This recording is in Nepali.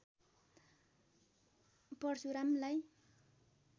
परशुरामलाई